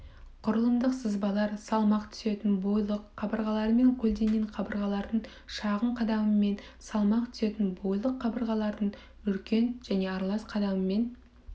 құрылымдық сызбалар салмақ түсетін бойлық қабырғалармен көлденең қабырғалардың шағын қадамымен салмақ түсетін бойлық қабырғалардың үлкен және аралас қадамымен